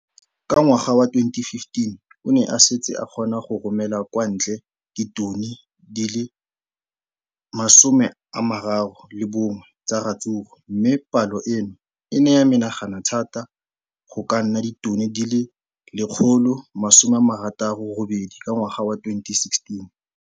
Ka ngwaga wa 2015, o ne a setse a kgona go romela kwa ntle ditone di le 31 tsa ratsuru mme palo eno e ne ya menagana thata go ka nna ditone di le 168 ka ngwaga wa 2016.